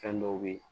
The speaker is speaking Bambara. Fɛn dɔw be ye